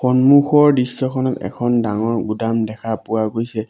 সন্মুখৰ দৃশ্যখনত এখন ডাঙৰ গুদাম দেখা পোৱা গৈছে।